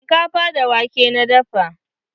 Shinkafa da wake na dafa.